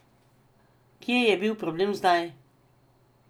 Kje je bil problem zdaj?